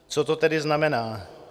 Co to tedy znamená?